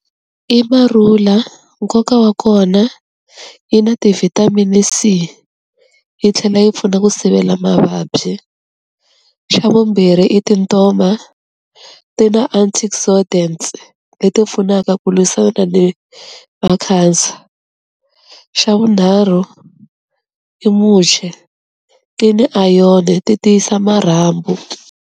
I marula nkoka wa kona yi na ti-vitamin C, yi tlhela yi pfuna ku sivela mavabyi, xa vumbirhi i tintoma ti na antioxidants leti pfunaka ku lwisana ni na cancer, xa vunharhu i muche ti ni ayoni ti tiyisa marhambu.